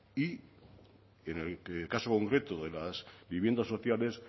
y en el caso concreto de las viviendas sociales